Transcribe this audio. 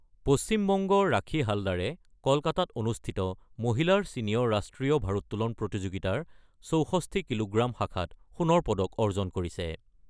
পশ্চিম বংগৰ ৰাখি হালদাৰে কলকাতাত অনুষ্ঠিত মহিলাৰ ছিনিয়ৰ ৰাষ্ট্ৰীয় ভাৰত্তোলন প্ৰতিযোগিতাৰ ৬৪ কিলোগ্ৰাম শাখাত সোণৰ পদক অৰ্জন কৰিছে।